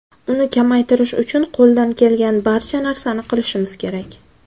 Uni kamaytirish uchun qo‘ldan kelgan barcha narsani qilishimiz kerak.